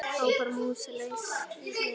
hrópar mús sem leysir vind.